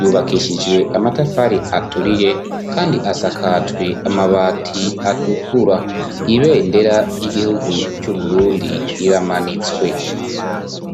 yubakishijwe amatafari aturiye kandi asakajwe amabati atukura ibendera ry'igihugu c'uburundi iramanitswe